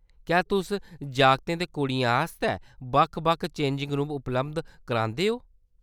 क्या तुस जागतें ते कुड़ियें आस्तै बक्ख-बक्ख चेंजिंग रूम उपलब्ध करांदे ओ ?